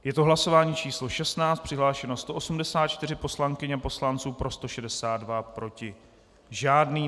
Je to hlasování číslo 16, přihlášeno 184 poslankyň a poslanců, pro 162, proti žádný.